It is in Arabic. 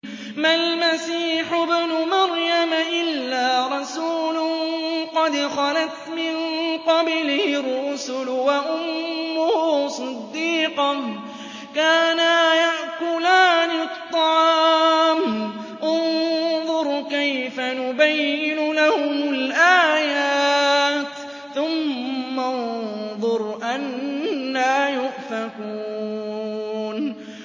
مَّا الْمَسِيحُ ابْنُ مَرْيَمَ إِلَّا رَسُولٌ قَدْ خَلَتْ مِن قَبْلِهِ الرُّسُلُ وَأُمُّهُ صِدِّيقَةٌ ۖ كَانَا يَأْكُلَانِ الطَّعَامَ ۗ انظُرْ كَيْفَ نُبَيِّنُ لَهُمُ الْآيَاتِ ثُمَّ انظُرْ أَنَّىٰ يُؤْفَكُونَ